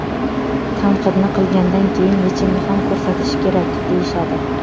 Tanqidni qilgandan keyin yechimni ham ko‘rsatish kerak, deyishadi.